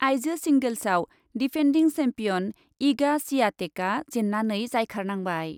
आइजो सिंगेल्सआव defending champion Iga स्वियातेकआ जेननानै जायखारनांबाय।